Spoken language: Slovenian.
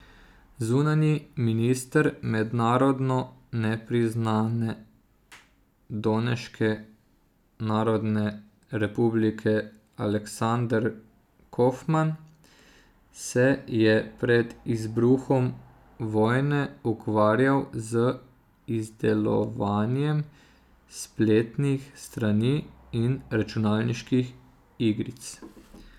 Zunanji minister mednarodno nepriznane Doneške narodne republike Aleksander Kofman se je pred izbruhom vojne ukvarjal z izdelovanjem spletnih strani in računalniških igric.